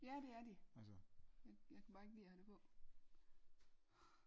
ja det er de jeg kan bare ikke lide at have det på